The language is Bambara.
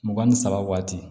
Mugan ni saba waati